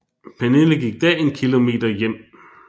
Pernille gik da en kilometer hjem